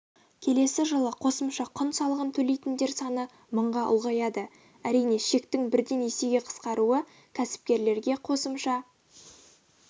келесі жылы қосымша құн салығын төлейтіндер саны мыңға ұлғаяды әрине шектің бірден есеге қысқаруы кәсіпкерлерге қосымша